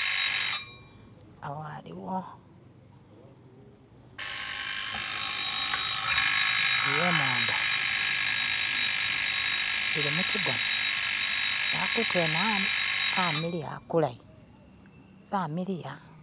Awo haliwo imondo, eli mukigona, nehakutu hene hamiliya hakulayi, zamiliya.